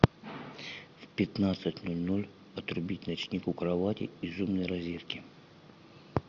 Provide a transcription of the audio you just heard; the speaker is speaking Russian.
в пятнадцать ноль ноль отрубить ночник у кровати из умной розетки